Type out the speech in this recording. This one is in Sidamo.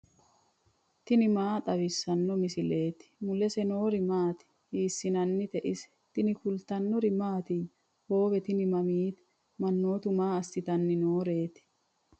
tini maa xawissanno misileeti ? mulese noori maati ? hiissinannite ise ? tini kultannori mattiya? hoowe tini mamitte? manoottu maa assitanni nooreti?